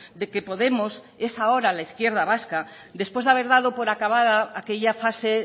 de que podemos es ahora la izquierda vasca después de haber dado por acabada aquella fase